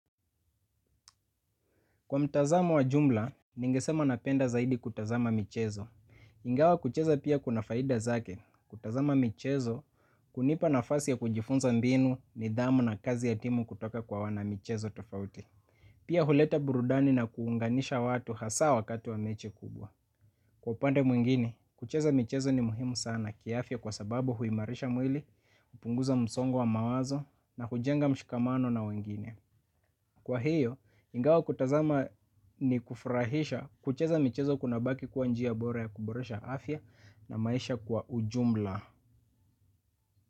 Kwa mtazamo wa jumla, ningesema napenda zaidi kutazama michezo. Ingawa kucheza pia kuna faida zake. Kutazama mchezo, kunipa nafasi ya kujifunza mbinu nidhamu na kazi ya timu kutoka kwa wana michezo tofauti. Pia huleta burudani na kuunganisha watu hasa wakati wa mechi kubwa. Kwa upande mwingine, kucheza mchezo ni muhimu sana kiafya kwa sababu huimarisha mwili, upunguza msongo wa mawazo na hujenga mshikamano na wengine. Kwa hiyo, ingawa kutazama ni kufurahisha kucheza michezo kuna bauki kwa njiya bora ya kuboresha afya na maisha kwa ujumla.